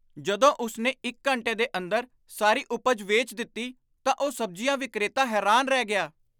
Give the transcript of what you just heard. ਜਦੋਂ ਉਸ ਨੇ ਇੱਕ ਘੰਟੇ ਦੇ ਅੰਦਰ ਸਾਰੀ ਉਪਜ ਵੇਚ ਦਿੱਤੀ ਤਾਂ ਉਹ ਸਬਜ਼ੀਆਂ ਵਿਕਰੇਤਾ ਹੈਰਾਨ ਰਹਿ ਗਿਆ।